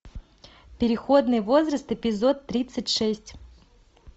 переходный возраст эпизод тридцать шесть